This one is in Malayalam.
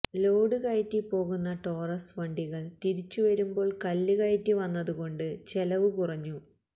ലോഡ് കയറ്റിപ്പോകുന്ന ടോറസ് വണ്ടികൾ തിരിച്ചുവരുമ്പോൾ കല്ല് കയറ്റിവന്നതുകൊണ്ട് ചെലവ് കുറഞ്ഞു